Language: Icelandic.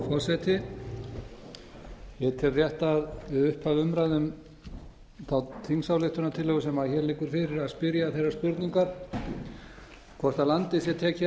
forseti ég tel rétt að við upphaf umræðu þá þingsályktunartillögu sem hér liggur fyrir að spyrja þeirrar spurningar hvort landið sé tekið að